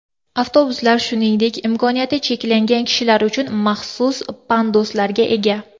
Avtobuslar shuningdek imkoniyati cheklangan kishilar uchun maxsus panduslarga ega.